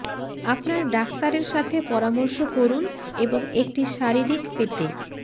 আপনার ডাক্তারের সাথে পরামর্শ করুন এবং একটি শারীরিক পেতে